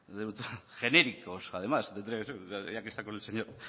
genéricos además tendría que ser ya que está con